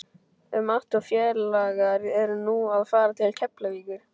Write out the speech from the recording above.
Ef Matti og félagar eru nú að fara til Keflavíkur!